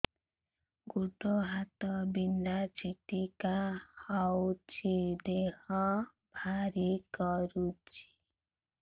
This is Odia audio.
ଗୁଡ଼ ହାତ ବିନ୍ଧା ଛିଟିକା ହଉଚି ଦେହ ଭାରି କରୁଚି